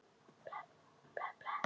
Fjölskyldur leystust upp.